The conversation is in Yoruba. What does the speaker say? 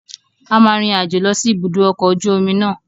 A máa rin àjò lọ sí ibùdó ọkọ̀ ojú omi náà.